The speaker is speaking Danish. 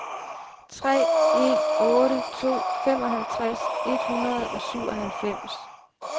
tre en otte to femoghalvtreds et hundrede og syvoghalvfems